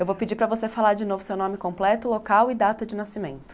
Eu vou pedir para você falar de novo seu nome completo, local e data de nascimento.